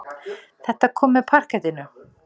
Þetta kom með parkettinu.